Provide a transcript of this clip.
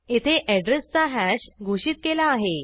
येथे एड्रेस चा हॅश घोषित केला आहे